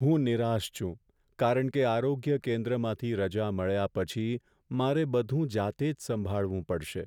હું નિરાશ છું કારણ કે આરોગ્ય કેન્દ્રમાંથી રજા મળ્યા પછી મારે બધું જાતે જ સંભાળવું પડશે.